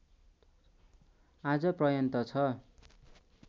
आज पर्यन्त छ